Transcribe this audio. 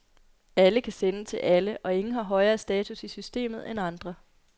Alle kan sende til alle, og ingen har højere status i systemet end andre.